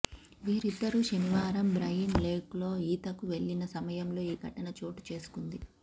వీరిద్దరూ శనివారం బ్రయన్్ లేక్లో ఈతకు వెళ్లిన సమయంలో ఈ ఘటన చోటుచేసుకుంది